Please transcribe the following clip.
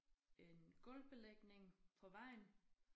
En gulvbelægning på vejen